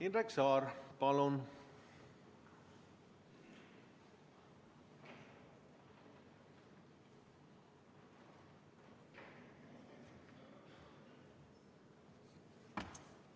Indrek Saar, palun!